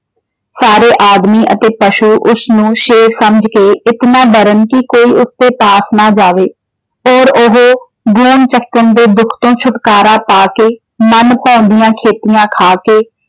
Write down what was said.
ਸਾਰੇ ਆਦਮੀ ਅਤੇ ਪਸ਼ੂ ਉਸ ਨੂੰ ਸ਼ੇਰ ਸਮਝ ਕੇ ਇਤਨਾ ਡਰਨ ਕਿ ਕੋਈ ਉਸ ਦੇ ਪਾਸ ਨਾ ਜਾਵੇ। ਔਰ ਉਹ ਚੱਕਣ ਦੇ ਦੁੱਖ ਤੋਂ ਛੁਟਕਾਰਾ ਪਾ ਕੇ ਮਨ ਭਾਉਂਦਿਆਂ ਖੇਤਿਆਂ ਖਾ ਕੇ।